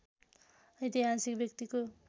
ऐतिहासिक व्यक्तिको